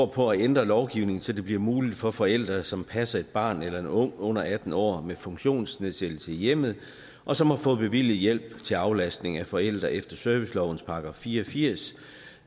på at ændre lovgivningen så det bliver muligt for forældre som passer et barn eller en ung på under atten år med funktionsnedsættelse i hjemmet og som har fået bevilget hjælp til aflastning af forældre efter servicelovens § fire og firs